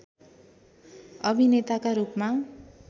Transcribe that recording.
अभिनेताका रूपमा